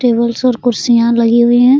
Tables और कुर्सियां लगे हुए है।